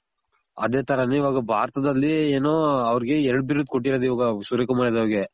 ಅದೆ ತರನೇ ಇವಾಗ ಭಾರತದಲ್ಲಿ ಏನು ಅವರ್ಗೆ ಎರ್ಡ್ ಬಿರುದು ಕೊಟ್ಟಿರೋದ್ ಇವಾಗ ಸೂರ್ಯ ಕುಮಾರ್ ಯಾದವ್ ಅವರ್ಗೆ.